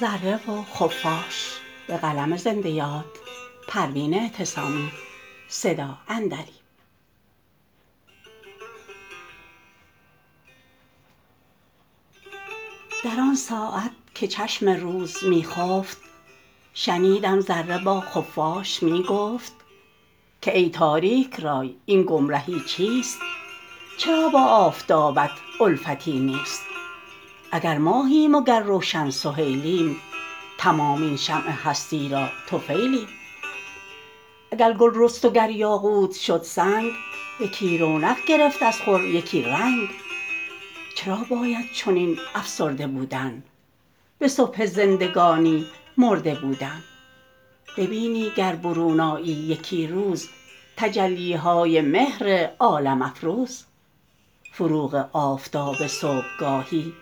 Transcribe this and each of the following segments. در آنساعت که چشم روز میخفت شنیدم ذره با خفاش میگفت که ای تاریک رای این گمرهی چیست چرا با آفتابت الفتی نیست اگر ماهیم و گر روشن سهیلیم تمام این شمع هستی را طفیلیم اگر گل رست و گر یاقوت شد سنگ یکی رونق گرفت از خور یکی رنگ چرا باید چنین افسرده بودن بصبح زندگانی مرده بودن ببینی گر برون آیی یکی روز تجلیهای مهر عالم افروز فروغ آفتاب صبحگاهی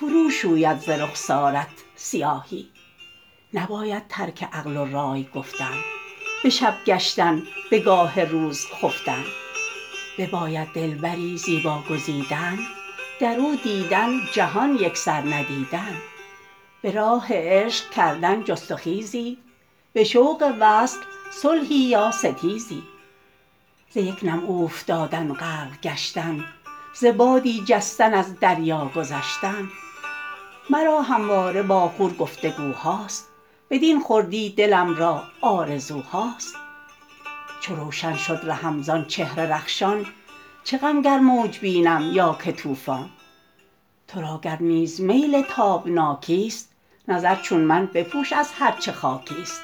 فرو شوید ز رخسارت سیاهی نباید ترک عقل و رای گفتن بشب گشتن بگاه روز خفتن بباید دلبری زیبا گزیدن درو دیدن جهان یکسر ندیدن براه عشق کردن جست و خیزی بشوق وصل صلحی یا ستیزی ز یک نم اوفتادن غرق گشتن ز بادی جستن از دریا گذشتن مرا همواره با خور گفتگوهاست بدین خردی دلم را آرزوهاست چو روشن شد رهم زان چهر رخشان چه غم گر موج بینم یا که طوفان ترا گر نیز میل تابناکی است نظر چون من بپوش از هر چه خاکیست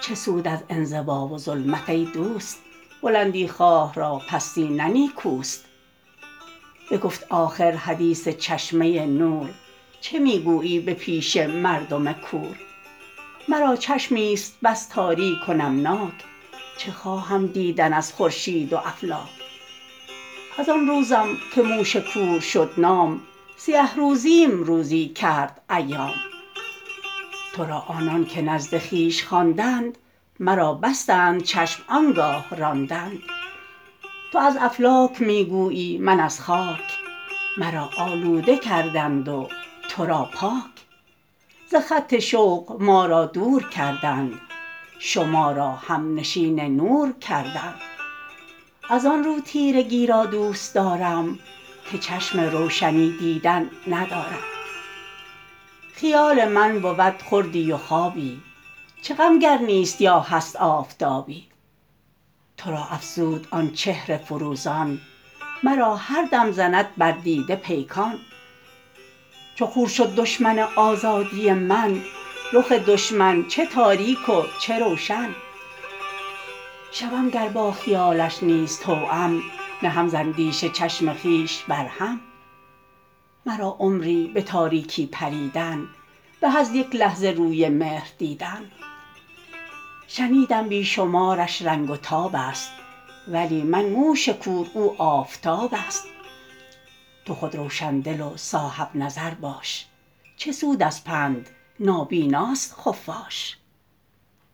چه سود از انزوا و ظلمت ایدوست بلندی خواه را پستی نه نیکوست بگفت آخر حدیث چشمه نور چه میگویی به پیش مردم کور مرا چشمیست بس تاریک و نمناک چه خواهم دیدن از خورشید و افلاک از آن روزم که موش کور شد نام سیه روزیم روزی کرد ایام ترا آنانکه نزد خویش خواندند مرا بستند چشم آنگاه راندند تو از افلاک میگویی من از خاک مرا آلوده کردند و ترا پاک ز خط شوق ما را دور کردند شما را همنشین نور کردند از آن رو تیرگی را دوستارم که چشم روشنی دیدن ندارم خیال من بود خوردی و خوابی چه غم گر نیست یا هست آفتابی ترا افروزد آن چهر فروزان مرا هم دم زند بر دیده پیکان چو خور شد دشمن آزادی من رخ دشمن چه تاریک و چه روشن شوم گر با خیالش نیز توام نهم زاندیشه چشم خویش بر هم مرا عمری بتاریکی پریدن به از یک لحظه روی مهر دیدن شنیدم بیشمارش رنگ و تاب است ولی من موش کور او آفتاب است تو خود روشندل و صاحبنظر باش چه سود از پند نابیناست خفاش